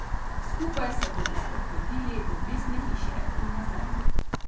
Skupaj se bodo sprehodili do Mestne hiše in nazaj.